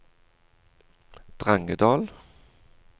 Drangedal